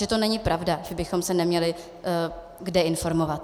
Čili to není pravda, že bychom se neměli kde informovat.